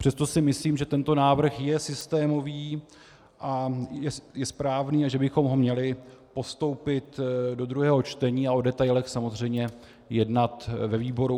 Přesto si myslím, že tento návrh je systémový a je správný a že bychom ho měli postoupit do druhého čtení a o detailech samozřejmě jednat ve výboru.